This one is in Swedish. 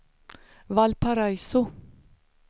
Valparaiso